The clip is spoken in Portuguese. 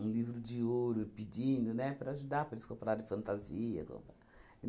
um livro de ouro pedindo, né, para ajudar, para eles comprarem fantasia comprar e